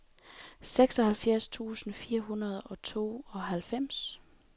seksoghalvfjerds tusind fire hundrede og tooghalvfems